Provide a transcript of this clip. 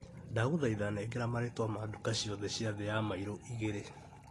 Ndagũthaitha nengera marĩtwa ma nduka ciothe ciathĩ ya mairo igĩrĩ.